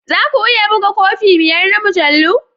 Za ku iya buga kofi biyar na mujallu?